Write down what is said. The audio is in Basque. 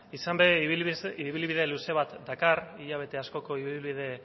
izan ere ibilbide luze bat dakar hilabete askoko ibilbide